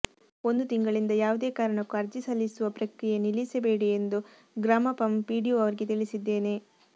ಒಂದು ತಿಂಗಳಿಂದ ಯಾವುದೇ ಕಾರಣಕ್ಕೂ ಅರ್ಜಿ ಸಲ್ಲಿಸುವ ಪ್ರಕ್ರಿಯೆ ನಿಲ್ಲಿಸಬೇಡಿ ಎಂದು ಗ್ರಾಪಂ ಪಿಡಿಒ ಅವರಿಗೆ ತಿಳಿಸಿದ್ದೇನೆ